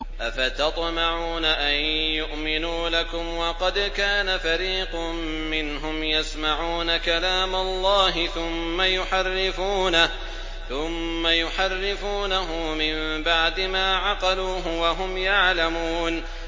۞ أَفَتَطْمَعُونَ أَن يُؤْمِنُوا لَكُمْ وَقَدْ كَانَ فَرِيقٌ مِّنْهُمْ يَسْمَعُونَ كَلَامَ اللَّهِ ثُمَّ يُحَرِّفُونَهُ مِن بَعْدِ مَا عَقَلُوهُ وَهُمْ يَعْلَمُونَ